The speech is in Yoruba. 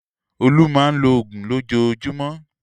Olú máa ń lo òògùn lójoojúmọ́.